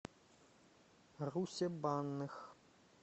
русе банных